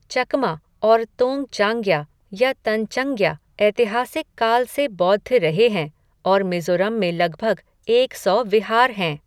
चकमा और तोंगचांग्या या तंचंग्या ऐतिहासिक काल से बौद्ध रहे हैं और मिज़ोरम में लगभग एक सौ विहार हैं।